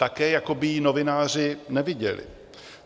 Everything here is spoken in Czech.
Také jako by ji novináři neviděli.